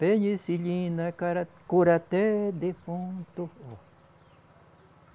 Penicilina cara cura até defunto.